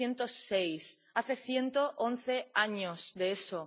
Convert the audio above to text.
1906. Hace ciento once años de eso.